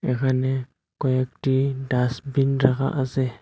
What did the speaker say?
এখানে কয়েকটি ডাস্টবিন রাখা আছে।